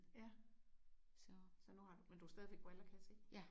Ja. Så så nu har men du har stadigvæk briller kan jeg se